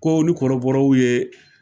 Ko ni kɔrɔbɔrɔw ye